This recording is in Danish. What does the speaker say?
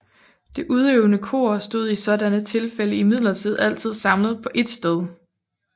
Det udøvende kor stod i sådanne tilfælde imidlertid altid samlet på ét sted